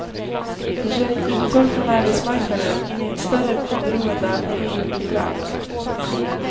Det sker ett uttåg från arbetsmarknaden in i ett större beroende av familj och bidrag.